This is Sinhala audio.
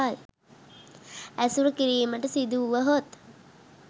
ඇසුරු කිරීමට සිදුවුවහොත්